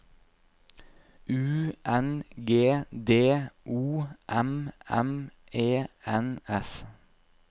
U N G D O M M E N S